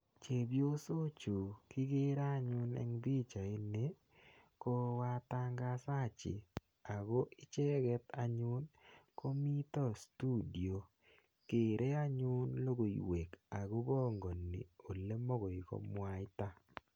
Chepyosochu kikere anyun eng pichaini, ko watangazaji ako icheket anyun komito studio, kere anyun logoiwek akopangani olemakoi komwaita.